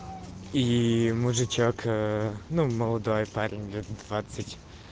и мужичок ээ ну молодой парень лет двадцать